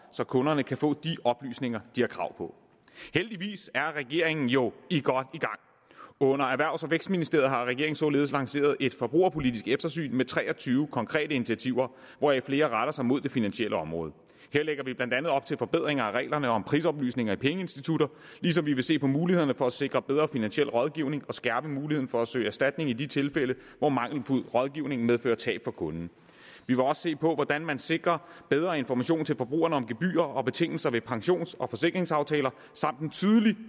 så kunderne kan få de oplysninger de har krav på heldigvis er regeringen jo godt i gang under erhvervs og vækstministeriet har regeringen således lanceret et forbrugerpolitisk eftersyn med tre og tyve konkrete initiativer hvoraf flere retter sig mod det finansielle område her lægger vi blandt andet op til forbedringer af reglerne om prisoplysninger i pengeinstitutter ligesom vi vil se på mulighederne for at sikre bedre finansiel rådgivning og skærpe muligheden for at søge erstatning i de tilfælde hvor mangelfuld rådgivning medfører tab for kunden vi vil også se på hvordan man sikrer bedre information til forbrugerne om gebyrer og betingelser ved pensions og forsikringsaftaler samt på en tydelig